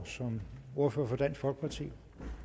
som ordfører for dansk folkeparti